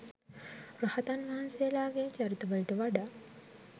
රහතන් වහන්සේලාගේ චරිත වලට වඩා